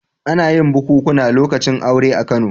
Ana yin bukunkuna lokacin aure a Kano.